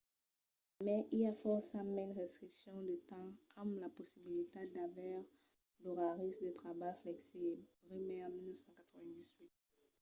a mai i a fòrça mens restriccions de temps amb la possibilitat d'aver d'oraris de trabalh flexibles. bremer 1998